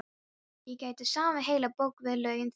Ég gæti samið heila bók við lögin þín.